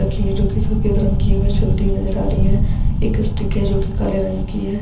रखी है जो की सफ़ेद रंग की है वह जलती हुई नजर आ रही है एक इस्टिक है जो कि काले रंग की है।